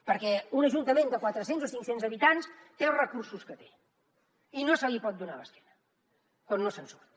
perquè un ajuntament de quatre cents o cinc cents habitants té els recursos que té i no se li pot donar l’esquena quan no se’n surt